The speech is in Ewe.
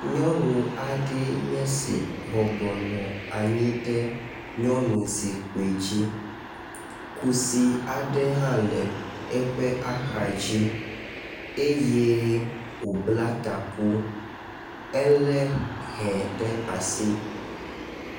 Nyɔnu aɖe nye esi bɔbɔ nɔ anyi ɖe nyɔnuzikpui dzi. Kusi aɖe hã le eƒe axa dzi eye wòbl;a taku. Elé he ɖe asi.